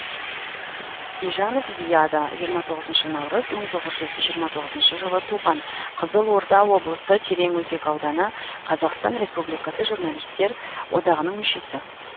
ижанов зияда жиырма тоғызыншы наурыз мың тоғыз жүз жиырма тоғызыншы жылы туған қызылорда облысы тереңөзек ауданы қазақстан республикасы журналистер одағының мүшесі